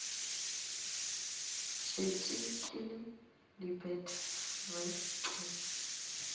šetše ke lebet re ke